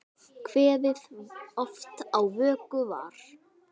Kveðið oft á vöku var.